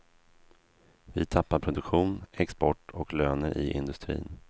Vi tappar produktion, export och löner i industrin.